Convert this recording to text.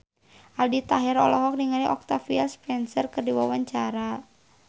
Aldi Taher olohok ningali Octavia Spencer keur diwawancara